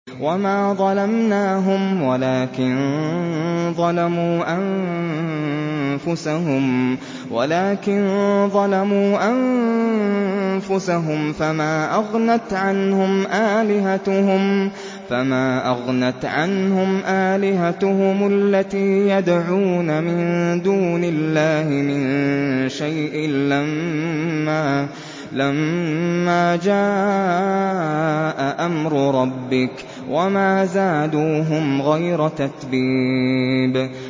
وَمَا ظَلَمْنَاهُمْ وَلَٰكِن ظَلَمُوا أَنفُسَهُمْ ۖ فَمَا أَغْنَتْ عَنْهُمْ آلِهَتُهُمُ الَّتِي يَدْعُونَ مِن دُونِ اللَّهِ مِن شَيْءٍ لَّمَّا جَاءَ أَمْرُ رَبِّكَ ۖ وَمَا زَادُوهُمْ غَيْرَ تَتْبِيبٍ